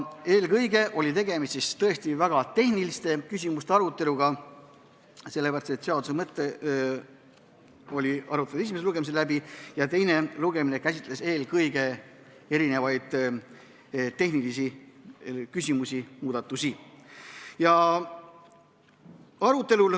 Eelkõige oli tegemist tõesti väga tehniliste küsimuste aruteluga, sest seaduse mõte oli esimesel lugemisel läbi arutatud ning teisel lugemisel käsitleti mitmeid tehnilisi küsimusi ja muudatusi.